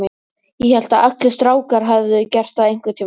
Ég hélt að allir strákar hefðu gert það einhvern tíma.